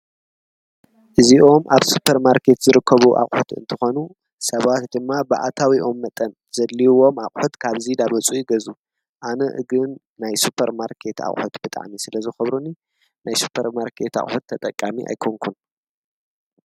እዚኦም ኣብ ሱጰር ማርከት ዝርከቡ ኣኾት እንተኾኑ ሰባት ድማ ብኣታዊኦም መጠን ዘድልውዎም ኣዂት ካብዚይ ዳመጹ ይገዙ ኣነ እግን ናይ ሱጰር ማርከት ኣሐት ብጣኒ ስለ ዝኽብሩኒ ናይ ሱጰር ማርከት ኣዂት ተጠቃሚ ኣይኮንኩን።